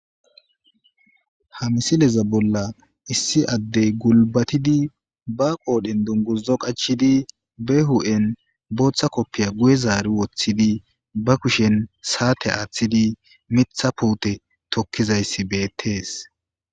ha misileza bolla issi addey gulbatidi ba qoodhen dungurzo qachidi be hu7en booththa koppiya guye zaari woththidi ba kushen saate aaththidi mitha puute tokkizayssi beettees